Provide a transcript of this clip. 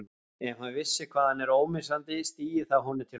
Ef hann vissi hvað hann er ómissandi stigi það honum til höfuðs.